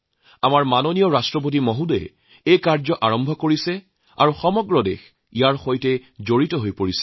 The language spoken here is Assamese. আমাৰ শ্ৰদ্ধাৰ ৰাষ্ট্ৰপতিয়ে এই কাম আৰম্ভ কৰিছে আৰু দেশবাসীও ইয়াৰ অংশীদাৰ হৈছে